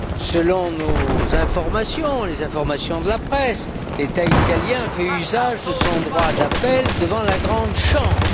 Selon nos informations, les informations de la presse, l'État italien fait usage de son droit d'appel devant la Grande Chambre.